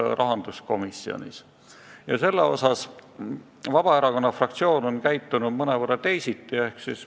Vabaerakonna fraktsioon on selles osas käitunud mõnevõrra teisiti.